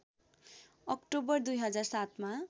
October २००७ मा